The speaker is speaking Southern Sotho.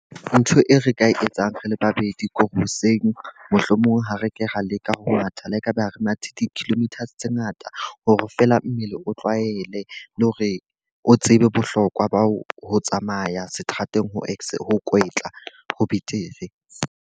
Ntho e re ka e etsang re le babedi, kore hoseng mohlomong ha re ke ra leka ho matha le ekaba re mathe di-kilometers tse ngata hore fela mmele o tlwaele. Le hore o tsebe bohlokwa ba ho tsamaya seterateng o ex ho kwetla, ho betere.